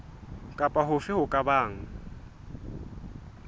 kapa hofe ho ka bang